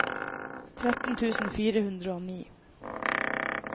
tretten tusen fire hundre og ni